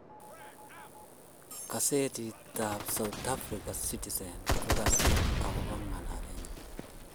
Kasetitab South Africa ,Citizen ,ko kasir agobo ng'alalenyi